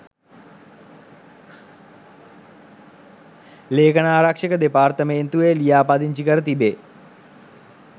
ලේඛනාරක්ෂක දෙපාර්තමේන්තුවේ ලිියාපදිංචි කර තිබෙ